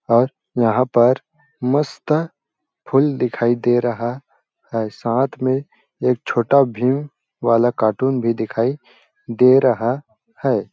और यहाँ पर मस्त फूल दिखाई दे रहा है साथ में एक छोटा भीम वाला कार्टून भी दिखाई दे रहा हैं ।